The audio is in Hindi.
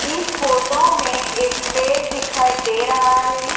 इस फोटो में एक पेड़ दिखाई दे रहा है।